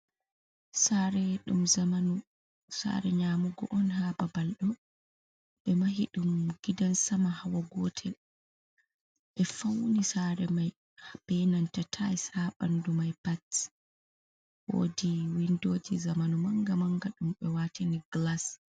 Saare Dum zamanu, saare nyamugo un ha babal ɗo, ɓe mahi ɗum gidan sama hawa gotel, e fauni sare mai benanta tayls ha bandu mai pat. Woodi windoji zamanu manga-manga dum ɓe watini gilas.